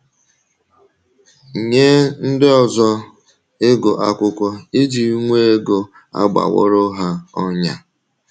Nye ndị ọzọ, ịgụ akwụkwọ iji nwee ego aghọworo ha ọnyà.